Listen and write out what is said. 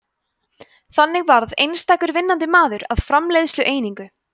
þannig varð einstakur vinnandi maður að framleiðslueiningu